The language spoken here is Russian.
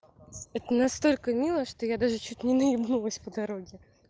это настолько мило что я даже чуть не наебнулась по дороге